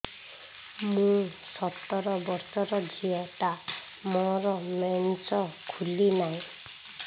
ମୁ ସତର ବର୍ଷର ଝିଅ ଟା ମୋର ମେନ୍ସେସ ଖୁଲି ନାହିଁ